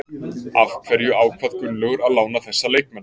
Af hverju ákvað Gunnlaugur að lána þessa leikmenn?